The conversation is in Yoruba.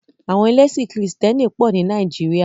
Àwọn ẹlẹ́sìn krìstẹ́nì pọ̀ ní Nàìjíríà.